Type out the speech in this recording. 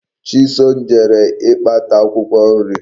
Chisom jere ikpata Akwukwo nri